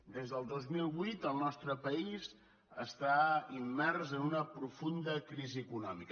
des del dos mil vuit el nostre país està immers en una profunda crisi econòmica